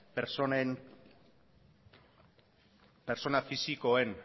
pertsona fisikoen